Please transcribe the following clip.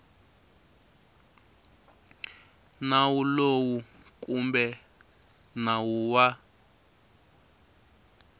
nawu lowu kumbe nawu wa